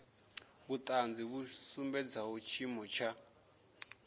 vhuṱanzi vhu sumbedzaho tshiimo tsha